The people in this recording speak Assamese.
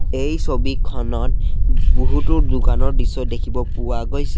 এই ছবিখনত বহুতো দোকানৰ দৃশ্য দেখিব পৰা গৈছে।